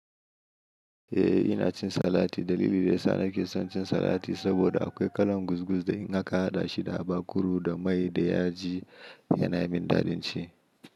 Eh ina cin salati. Dalili da yasa nake son cin salati saboda akwai kalan guz guz da in haka haɗa shi da habak kuru da mai da yaji yana min dadin ci.